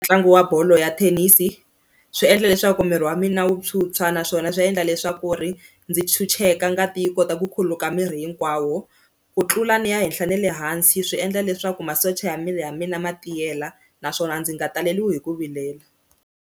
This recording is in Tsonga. Ntlangu wa bolo ya thenisi swi endla leswaku miri wa mina wu tshwutshwa naswona swi endla leswaku ri ndzi chucheka ngati yi kota ku khuluka miri hinkwawo, ku tlula ni ya henhla ne le hansi swi endla leswaku masocha ya miri ya mina ma tiyela naswona ndzi nga taleliwi hi ku vilela.